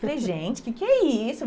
Falei, gente, o que que é isso?